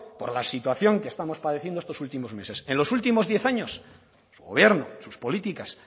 por la situación que estamos padeciendo estos últimos meses en los últimos diez años el gobierno sus políticas